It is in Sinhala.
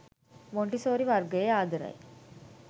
මොන්ටිසෝරි වර්ගයේ ආදරයි.